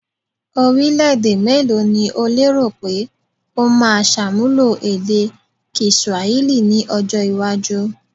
Orílẹ̀-èdè mélòó ni o lérò pé ó máa ṣàmúlò èdè kiswahili ní ọjọ́-iwájú?